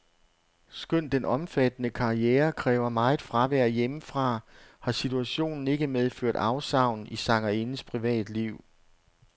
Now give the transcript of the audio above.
Skønt den omfattende karriere kræver meget fravær hjemmefra, har situationen ikke medført afsavn i sangerindens privatliv.